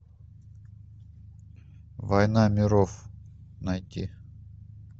война миров найти